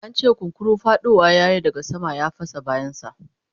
an ce kunkuru faɗowa yayi daga sama ya fasa bayan sa